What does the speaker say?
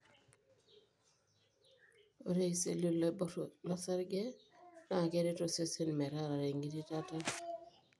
ore iseli loibor losarge na keret osesen metarare engitirata.